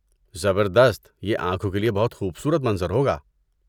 زبردست! یہ آنکھوں کے لیے بہت خوبصورت منظر ہوگا۔